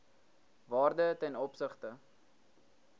waarde ten opsigte